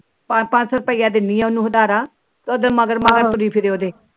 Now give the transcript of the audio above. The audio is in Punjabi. ਪਾ ਪਾ ਸੋ ਰੁਪਏ ਦਿੰਦੀ ਉਹਨੂੰ ਆਧਾਰਾ ਉਹਦੇ ਮਗਰ ਮਗਰ